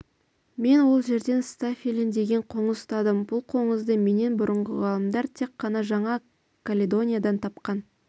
мен ол жерден стафилин деген қоңыз ұстадым бұл қоңызды менен бұрынғы ғалымдар тек қана жаңа каледониядан тапқан